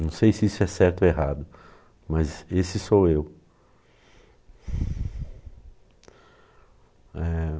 Não sei se isso é certo ou errado, mas esse sou eu. Eh...